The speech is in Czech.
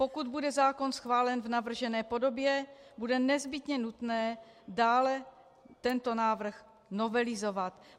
Pokud bude zákon schválen v navržené podobě, bude nezbytně nutné dále tento návrh novelizovat.